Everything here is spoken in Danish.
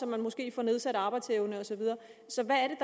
man måske får nedsat arbejdsevne og så videre så hvad er